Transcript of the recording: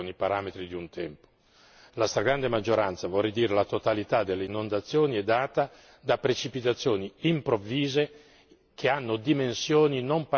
La stragrande maggioranza, vorrei dire la totalità delle inondazioni è data da precipitazioni improvvise che hanno dimensioni non paragonabili con quelle storiche.